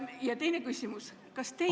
Ja teine küsimus: kas teie ...